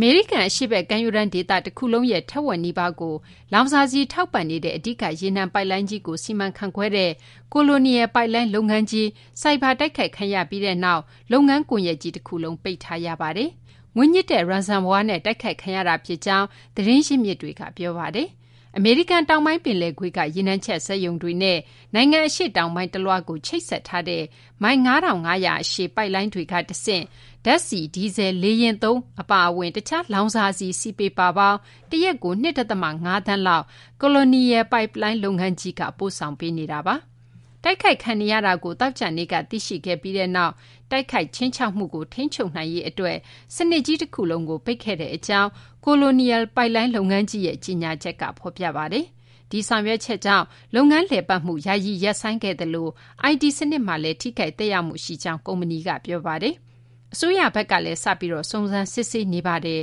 မေရိကန် အရှေ့ဘက် ကမ်းရိုးတန်းဒေသ တခုလုံးရဲ့ ထက်ဝက်နီးပါးကို လောင်စာဆီ တင်ပို့နေတဲ့ အဓိက ရေနံပိုက်လိုင်းလုပ်ငန်း Colonial Pipeline ကို ဆိုက်ဘာ တိုက်ခိုက်ခံရပြီးနောက် လုပ်ငန်းတခုလုံး ပိတ်လိုက်ရပါတယ်။ ငွေညှစ်တဲ့ Ransomware နဲ့ တိုက်ခိုက်ခံရတာဖြစ်ကြောင်း သတင်းရင်းမြစ်တွေက ပြောပါတယ်။ အမေရိကန်တောင်ပိုင်း ပင်လယ်ကွေ့က ရေနံချက်စက်ရုံတွေနဲ့ နိုင်ငံအရှေ့တောင်ပိုင်းတလွှားကို ချိတ်ဆက်ထားတဲ့ မိုင် ၅,၅၀၀ အရှည် ပိုက်လိုင်းတွေကနေ တဆင့် ဓာတ်ဆီ၊ ဒီဇယ်၊ လေယာဉ်သုံး အပါအဝင် တခြား လောင်စာဆီ စည်ပေပါပေါင်း တရက်ကို ၂ သန်းခွဲလောက် Colonial Pipeline လုပ်ငန်းကြီးက ပို့ဆောင်ပေးနေတာပါ။ တိုက်ခိုက်ခံနေရတာကို သောကြာနေ့က သိရှိခဲ့ပြီးနောက် တိုက်ခိုက် ခြိမ်းခြောက်မှုကို ထိန်းချုပ်နိုင်ရေးအတွက် စနစ်ကြီးတခုလုံးကို ပိတ်ခဲ့ကြောင်း Colonial ပိုက်လိုင်း လုပ်ငန်းကြီးရဲ့ ကြေညာချက်က ဖော်ပြပါတယ်။ ဒီဆောင်ရွက်ချက်ကြောင့် လုပ်ငန်းလည်ပတ်မှုကို ယာယီရပ်ဆိုင်းခဲ့ရသလို IT စနစ်မှာလည်း ထိခိုက်သက်ရောက်မှု ရှိကြောင်း ကုမ္ပဏီက ပြောပါတယ်။ အစိုးရကလည်း စပြီး စုံစမ်းစစ်ဆေးနေပါတယ်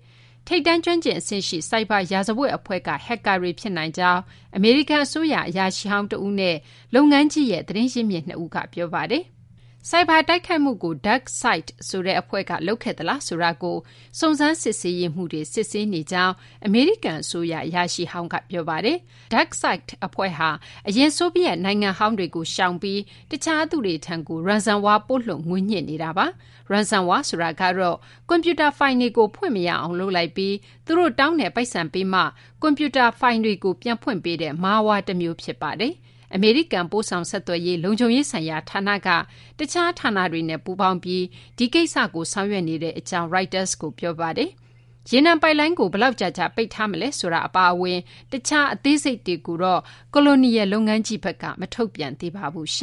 ။ ထိပ်တန်း ကျွမ်းကျင်အဆင့်ရှိ ဆိုက်ဘာ ရာဇဝတ်အဖွဲ့က ဟက်ကာတွေ ဖြစ်နိုင်ကြောင်း အမေရိကန်အစိုးရ အရာရှိဟောင်းတဦးနဲ့ လုပ်ငန်းကြီးရဲ့ သတင်းရင်းမြစ် ၂ ဦးက ပြောပါတယ်။ ဆိုက်ဘာတိုက်ခိုက်မှုကို DarkSide ဆိုတဲ့အဖွဲ့က လုပ်သလားဆိုတာကို စုံစမ်းစစ်ဆေးရေးမှူးတွေ စစ်ဆေးနေတဲ့အကြောင်း အမေရိကန်အစိုးရ အရာရှိဟောင်းက ပြောပါတယ်။ DarkSide အဖွဲ့ဟာ အရင် ဆိုဗီယက်နိုင်ငံဟောင်းတွေကို ရှောင်ပြီး တခြားသူတွေထံကို Ransomware ပို့လွှတ်ပြီး ငွေညှစ်နေတာပါ။ Ransomware ဆိုတာကတော့ ကွန်ပျူတာဖိုင်တွေကို ဖွင့်မရအောင် လုပ်လိုက်ပြီး သူတို့တောင်းတဲ့ပိုက်ဆံပေးမှ ကွန်ပျူတာဖိုင်တွေကို ပြန်ဖွင့်ပေးတဲ့ Malware တမျိုး ဖြစ်ပါတယ်။ အမေရိကန် ပို့ဆောင်ဆက်သွယ်ရေး လုံခြုံရေးဆိုင်ရာ ဌာနကလည်း တခြားဌာနတွေနဲ့ ပူးပေါင်းပြီး ဒီကိစ္စကို ဆောင်ရွက်နေကြောင်း Reuters ကို ပြောပါတယ်။ ရေနံပိုက်လိုင်းကို ဘယ်လောက်ကြာကြာ ပိတ်ထားမလဲဆိုတာ အပါအဝင် တခြား အသေးစိတ်တွေကိုတော့ Colonial လုပ်ငန်းကြီးက မထုတ်ပြန်သေးပါဘူး။